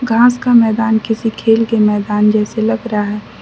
घास का मैदान किसी खेल के मैदान जैसे लग रहा है।